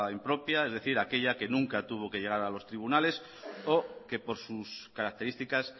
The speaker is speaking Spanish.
impropia es decir aquella que nunca tuvo que llegar a los tribunales o que por sus características